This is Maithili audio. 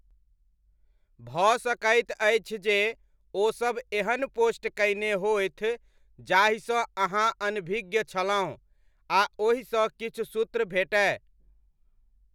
भऽ सकैत अछि जे ओसब एहन पोस्ट कयने होथि जाहिसँ अहाँ अनभिज्ञ छलहुँ आ ओहिसँ किछु सूत्र भेटय।